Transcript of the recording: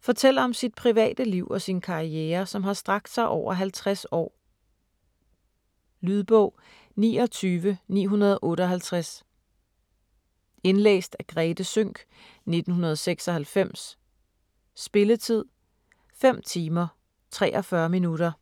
fortæller om sit private liv og sin karriere som har strakt sig over 50 år. Lydbog 29958 Indlæst af Grethe Sønck, 1996. Spilletid: 5 timer, 43 minutter.